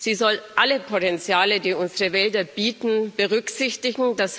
Sie soll alle Potenziale, die unsere Wälder bieten, berücksichtigen.